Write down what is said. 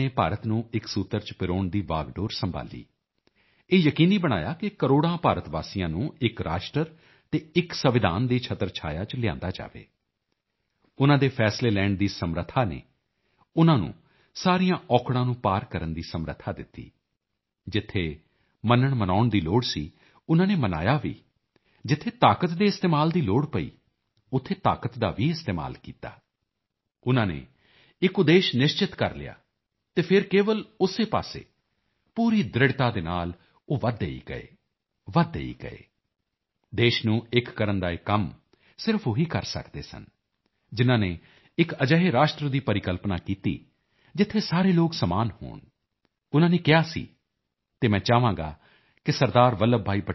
ਵੱਲਭ ਭਾਈ ਪਟੇਲ ਨੇ ਭਾਰਤ ਨੂੰ ਇੱਕ ਸੂਤਰ ਚ ਪਰੋਣ ਦੀ ਵਾਗਡੋਰ ਸੰਭਾਲੀ ਇਹ ਯਕੀਨੀ ਬਣਾਇਆ ਕਿ ਕਰੋੜਾਂ ਭਾਰਤ ਵਾਸੀਆਂ ਨੂੰ ਇੱਕ ਰਾਸ਼ਟਰ ਅਤੇ ਇੱਕ ਸੰਵਿਧਾਨ ਦੀ ਛਤਰਛਾਇਆ ਚ ਲਿਆਂਦਾ ਜਾਵੇ ਉਨ੍ਹਾਂ ਦੇ ਫੈਸਲੇ ਲੈਣ ਦੀ ਸਮਰੱਥਾ ਨੇ ਉਨ੍ਹਾਂ ਨੂੰ ਸਾਰੀਆਂ ਔਕੜਾਂ ਨੂੰ ਪਾਰ ਕਰਨ ਦੀ ਸਮਰੱਥਾ ਦਿੱਤੀ ਜਿੱਥੇ ਮੰਨਣਮਨਾਉਣ ਦੀ ਲੋੜ ਸੀ ਉਨ੍ਹਾਂ ਨੇ ਮਨਾਇਆ ਵੀ ਜਿੱਥੇ ਤਾਕਤ ਦੇ ਇਸਤੇਮਾਲ ਦੀ ਲੋੜ ਪਈ ਉੱਥੇ ਤਾਕਤ ਦਾ ਵੀ ਇਸਤੇਮਾਲ ਕੀਤਾ ਉਨ੍ਹਾਂ ਨੇ ਇੱਕ ਉਦੇਸ਼ ਨਿਸ਼ਚਿਤ ਕਰ ਲਿਆ ਅਤੇ ਫਿਰ ਕੇਵਲ ਉਸੇ ਪਾਸੇ ਪੂਰੀ ਦ੍ਰਿੜ੍ਹਤਾ ਦੇ ਨਾਲ ਉਹ ਵਧਦੇ ਹੀ ਗਏ ਵਧਦੇ ਹੀ ਗਏ ਦੇਸ਼ ਨੂੰ ਇੱਕ ਕਰਨ ਦਾ ਇਹ ਕੰਮ ਸਿਰਫ ਉਹੀ ਕਰ ਸਕਦੇ ਸਨ ਜਿਨ੍ਹਾਂ ਨੇ ਇੱਕ ਅਜਿਹੇ ਰਾਸ਼ਟਰ ਦੀ ਪਰਿਕਲਪਨਾ ਕੀਤੀ ਜਿੱਥੇ ਸਾਰੇ ਲੋਕ ਸਮਾਨ ਹੋਣ ਉਨ੍ਹਾਂ ਨੇ ਕਿਹਾ ਸੀ ਅਤੇ ਮੈਂ ਚਾਹਾਂਗਾ ਕਿ ਸ